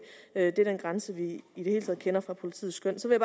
er den grænse vi i det hele taget kender fra politiets skøn så vil